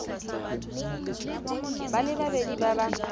ba le babedi ba ba